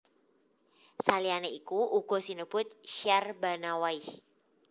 Saliyané iku uga sinebut Syahrbanawaih